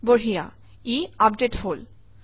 বঢ়িয়া ই আপডেট হল